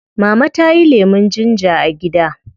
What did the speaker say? Mama tayi lemun ginger a gida